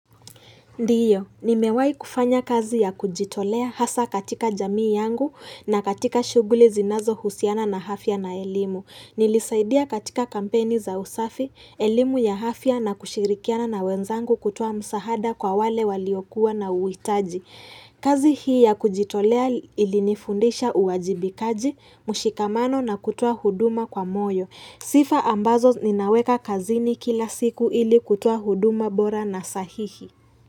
Ndio, nimewai kufanya kazi ya kujitolea hasa katika jamii yangu na katika shughuli zinazohusiana na hafya na elimu. Nilisaidia katika kampeni za usafi, elimu ya hafya na kushirikiana na wenzangu kutoa msahada kwa wale waliokuwa na uwitaji. Kazi hii ya kujitolea ilinifundisha uwajibikaji, mshikamano na kutoa huduma kwa moyo. Sifa ambazo ninaweka kazini kila siku ili kutuoa huduma bora na sahihi.